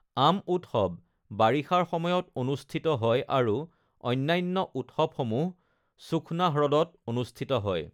আম উৎসৱ বাৰিষাৰ সময়ত অনুষ্ঠিত হয় আৰু অন্যান্য উৎসৱসমূহ সুখ্না হ্ৰদত অনুষ্ঠিত হয়।